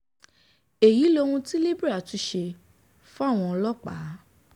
èyí lohun tí libre tún ṣe fáwọn ọlọ́pàá